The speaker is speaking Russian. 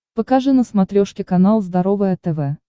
покажи на смотрешке канал здоровое тв